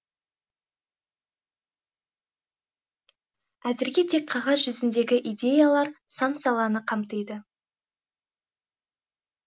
әзірге тек қағаз жүзіндегі идеялар сан саланы қамтиды